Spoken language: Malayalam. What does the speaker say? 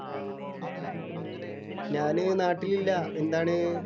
ഞാന് നാട്ടിലില്ല. എന്താണ്?